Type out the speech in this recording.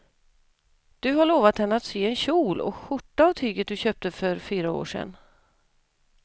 Du har lovat henne att du ska sy en kjol och skjorta av tyget du köpte för fyra år sedan.